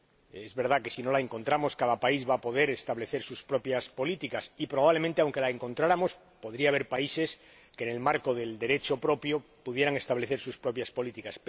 Es verdad que, si no la encontramos, cada país va a poder establecer sus propias políticas y, probablemente, aunque la encontráramos, podría haber países que, en el marco del Derecho propio, pudieran establecer sus propias políticas.